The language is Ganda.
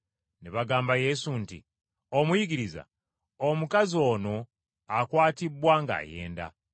Ne bagamba Yesu nti, “Omuyigiriza, omukazi ono akwatibbwa ng’ayenda.